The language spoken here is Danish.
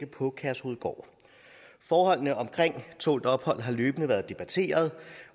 på kærshovedgård forholdene omkring tålt ophold har løbende været debatteret